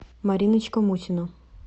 мариночка мусина